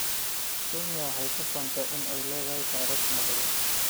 Kenya waxay ku faantaa inay leedahay taariikh nabadeed.